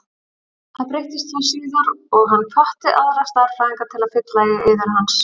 Það breyttist þó síðar og hann hvatti aðra stærðfræðinga til að fylla í eyður hans.